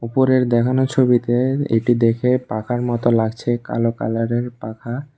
উপরের দেখানো ছবিতে এটি দেখে পাখার মতো লাগছে কালো কালার এর পাখা।